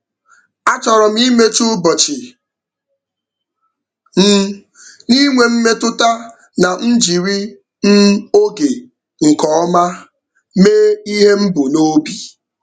A chọrọ m imechi ụbọchị m n'inwe mmetụta na m jiri m oge nke ọma mee ihe m bu n'obi.